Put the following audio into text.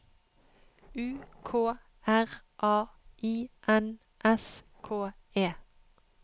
U K R A I N S K E